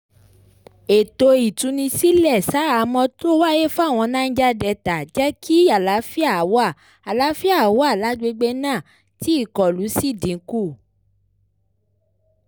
ètò ìtúnisílẹ̀ ṣaháhámọ́ tó wáyé fáwọn niger delta jẹ́ kí àlàáfíà wà àlàáfíà wà lágbègbè náà tí ìkọlù sì dínkù